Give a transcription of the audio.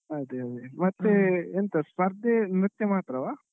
ಅದೇ ಅದೇ ಮತ್ತೆ ಎಂತ ಸ್ಪರ್ಧೆ ನೃತ್ಯ ಮಾತ್ರವ?